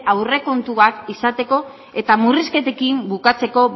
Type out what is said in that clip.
aurrekontuak izateko eta murrizketekin bukatzeko